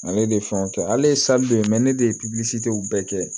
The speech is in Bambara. Ale de ye fɛn kɛ ale ye de ye ne de ye bɛɛ kɛ